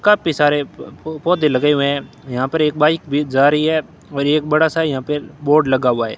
काफी सारे प प पौधे लगे हुए हैं यहां पर एक बाइक भी जा रही है और एक बड़ा सा यहां पे बोर्ड लगा हुआ है।